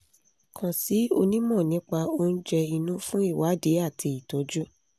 kàn sí onímọ̀ nípa oúnjẹ inú fún ìwádìí àti ìtọ́jú